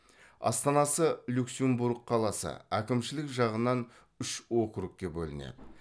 астанасы люксембург қаласы әкімшілік жағынан үш округке бөлінеді